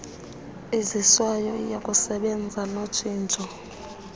iziswayo iyakusebenza notshintsho